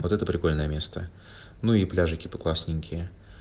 вот это прикольное место ну и пляжи типа классненькие